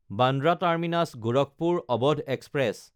Bandra টাৰ্মিনাছ–গোৰখপুৰ Awadh express